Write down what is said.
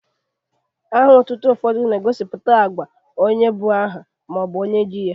Aha otutu ụfọdụ na-egosipụta agwa onye bu aha ma ọ bụ onye ji ya.